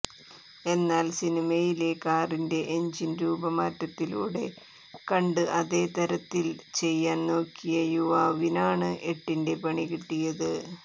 എന്നാൽ സിനിമയിലെ കാറിന്റെ എഞ്ചിൻ രൂപമാറ്റത്തിലൂടെ കണ്ട് അതേ തരത്തിൽ ചെയ്യാൻ നോക്കിയ യുവാവിനാണ് എട്ടിന്റെ പണികിട്ടിയത്